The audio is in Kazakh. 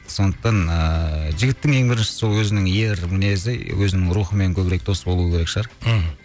сондықтан ыыы жігіттің ең бірінші сол өзінің ер мінезі өзінің рухымен көбірек дос болу керек шығар мхм